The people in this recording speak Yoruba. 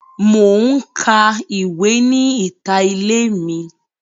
Mo n ka ìwé ni ìta ilé mi.